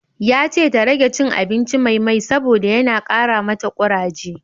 Yace ta rage cin abinci mai mai saboda yana kara mata kuraje